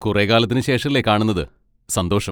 കുറേ കാലത്തിന് ശേഷല്ലേ കാണുന്നത്, സന്തോഷം.